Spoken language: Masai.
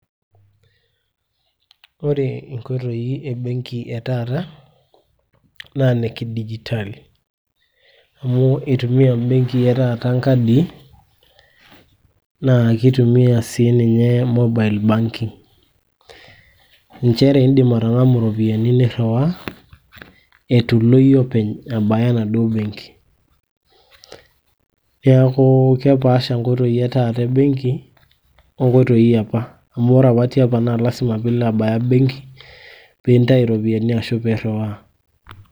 Ore inkoitoi embenki e taata naa inekidigitali, amu eitumia mbenkii etaata nkadii naa keitumia sii ninye mobile banking, nchere indim atang'amu iropiyiani nirriwaa eitu ilo iyie abaya enaduo benki. Neeku kepaasha nkoitoi etaata embenki onkoitoi eopa amu ore tiopa naa lasima piilo abaya embenki piintayu iropiyiani ashu irriwaa.